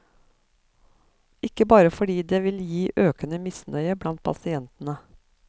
Ikke bare fordi det vil gi økende misnøye blant pasientene.